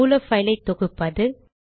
மூல பைலை தொகுப்பது